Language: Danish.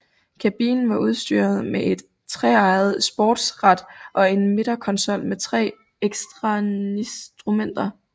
Kabinen var udstyret med et treeget sportsrat og en midterkonsol med tre ekstrainstrumenter